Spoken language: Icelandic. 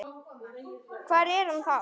Hvar er hann þá?